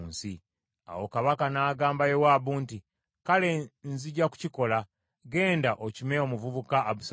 Awo kabaka n’agamba Yowaabu nti, “Kale, nzija kukikola. Genda okime omuvubuka Abusaalomu.”